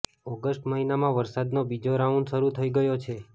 August મહિનામાં વરસાદનો બીજો રાઉન્ડ શરૂ થઈ ગયો છે